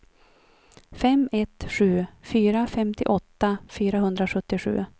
fem ett sju fyra femtioåtta fyrahundrasjuttiosju